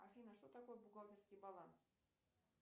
афина что такое бухгалтерский баланс